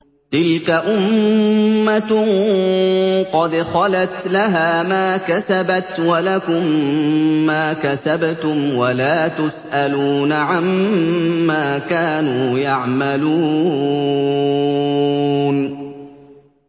تِلْكَ أُمَّةٌ قَدْ خَلَتْ ۖ لَهَا مَا كَسَبَتْ وَلَكُم مَّا كَسَبْتُمْ ۖ وَلَا تُسْأَلُونَ عَمَّا كَانُوا يَعْمَلُونَ